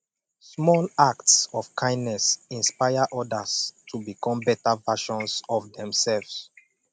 small acts of kindness inspire odas to become beta versions of demselves